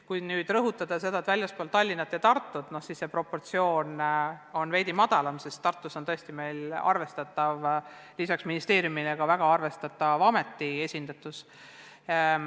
Kui aga rõhutada tegevust väljaspool Tallinna ja Tartut, siis on see protsent tegelikult veidi madalam, sest Tartus on meil lisaks ministeeriumile ka väga arvestatav ameti esindus.